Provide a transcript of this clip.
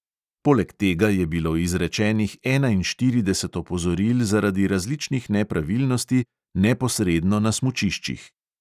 Poleg tega je bilo izrečenih enainštirideset opozoril zaradi različnih nepravilnosti neposredno na smučiščih.